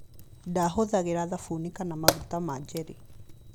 Ndaahũthagĩra thabuni kana maguta ma jelly.